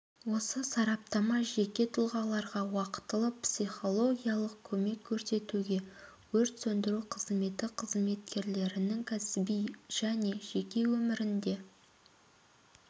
осы сараптама жеке тұлғаларға уақытылы психологиялық көмек көрсетуге өрт сөндіру қызметі қызметкерлерінің кәсіби және жеке өмірінде